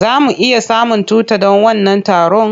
Za mu iya samun tuta don wannan taron?